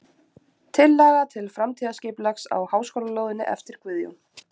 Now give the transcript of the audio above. Tillaga til framtíðarskipulags á háskólalóðinni eftir Guðjón